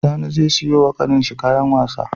Sani ze siyo wa ƙanin shi kayan wasa